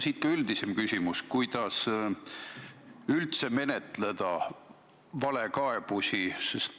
Siit ka üldisem küsimus: kuidas üldse menetleda valekaebusi?